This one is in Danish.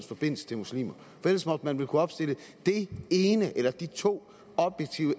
forbindelse til muslimer for ellers måtte man vel kunne opstille det ene eller de to